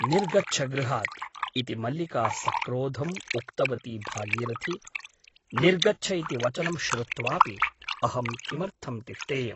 निर्गच्छ गृहात् इति मल्लिका सक्रोधम् उक्तवती भागीरथी । निर्गच्छ इति वचनं श्रुत्वापि अहं किमर्थं तिष्ठेयम् ?